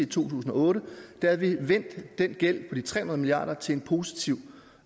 tusind og otte havde vi vendt den gæld på de tre hundrede milliard kroner til en positiv